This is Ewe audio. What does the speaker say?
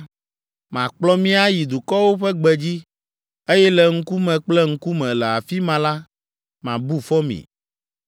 Makplɔ mi ayi dukɔwo ƒe gbedzi, eye le ŋkume kple ŋkume, le afi ma la, mabu fɔ mi.